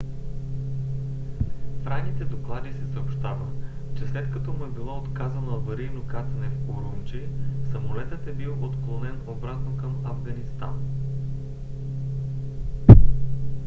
в ранните доклади се съобщава че след като му е било отказано аварийно кацане в урумчи самолетът е бил отклонен обратно към афганистан